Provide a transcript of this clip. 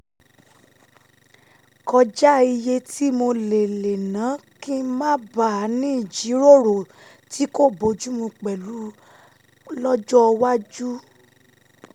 kọjá iye tí mo lè lè ná kí n má bàa ní ìjíròrò tí kò bójú mu pẹ̀lú lọ́jọ́ iwájú